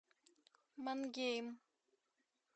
мангейм